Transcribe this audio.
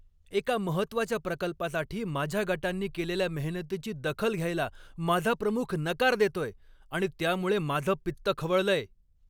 एका महत्त्वाच्या प्रकल्पासाठी माझ्या गटांनी केलेल्या मेहनतीची दखल घ्यायला माझा प्रमुख नकार देतोय आणि त्यामुळे माझं पित्त खवळलंय.